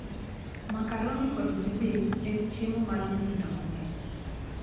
Makaroni kod jibin en chiemo mar nyithindo mang'eny